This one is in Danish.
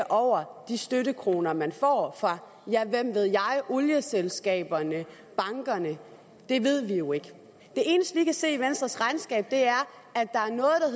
over de støttekroner man får fra ja hvem ved jeg olieselskaberne bankerne det ved vi jo ikke det eneste vi kan se i venstres regnskab